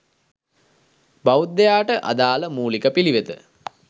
බෞද්ධයාට අදාළ මූලික පිළිවෙත